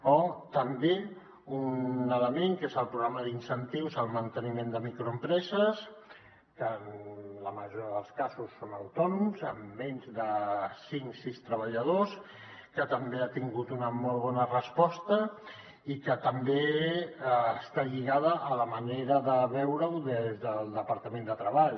o també un element que és el programa d’incentius al manteniment de la contractació en microempreses que en la majoria dels casos són autònoms amb menys de cinc sis treballadors que també ha tingut una molt bona resposta i que també està lligada a la manera de veure ho des del departament de treball